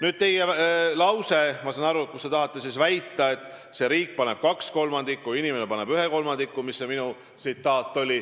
Nüüd see lause, mis minu tsitaat oli, et riik paneb kaks kolmandikku ja inimene paneb ühe kolmandiku.